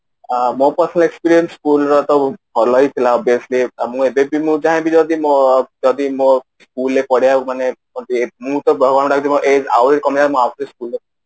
ଅ ମୋ personal experience school ର ବହୁତ ଭଲ ହିଁ ଥିଲା obviously ମୁଁ ଏବେ ବି ମୁଁ ଚାହିବି ଯଦି ମୋ school ରେ ପଢିବାକୁ ମାନେ ଯେମିତି ମୁଁ ତ ଭଗବାନଙ୍କୁ ଡାକୁଛି ମୋ age ଆହୁରି କମି ଜାଆନ୍ତା ମୁଁ ଆଉ ଥରେ school ରେ